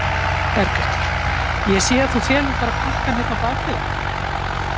Berghildur: Ég sé að þú felur bara pakkann hérna á bak við þig?